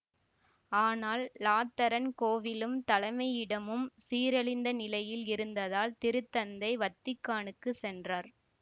ஆனால் இலாத்தரன் கோவிலும் தலைமையிடமும் சீரழிந்த நிலையில் இருந்ததால் திருத்தந்தை வத்திக்கானுக்குச் சென்றார்